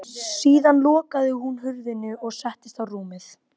Ætlaði þessari martröð aldrei að linna?